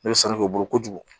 Ne bɛ sanu kɛ u bolo kojugu